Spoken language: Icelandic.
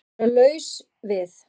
Að vera laus við